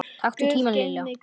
Taktu tímann Lilla!